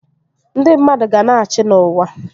Ndị mmadụ ga-na achị n'uwa